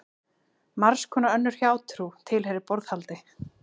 Margs konar önnur hjátrú tilheyrir borðhaldi.